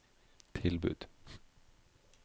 tilbud